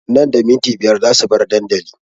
Nan da minti biyar za su bar dandali